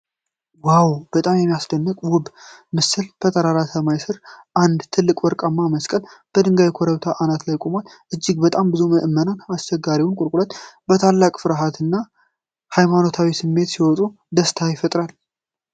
ዋው! በጣም የሚያስደንቅና ውብ ምስል! በጠራራ ሰማይ ስር አንድ ትልቅ ወርቃማ መስቀል በድንጋያማ ኮረብታ አናት ላይ ቆመዋል። እጅግ በጣም ብዙ ምዕመናን አስቸጋሪውን ቁልቁለት በታላቅ ፍቅርና ሃይማኖታዊ ስሜት ሲወጡ ደስታን ይፈጥራል።